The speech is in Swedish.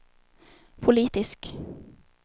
politisk